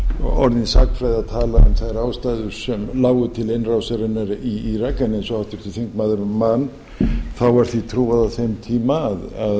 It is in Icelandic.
orðin sagnfræði að tala um þær ástæður sem lágu til innrásarinnar í írak en eins og háttvirtur þingmaður man þá var því trúað á þeim tíma að